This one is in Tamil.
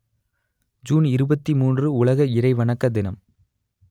ஜூன் இருபத்தி மூன்று உலக இறை வணக்க தினம்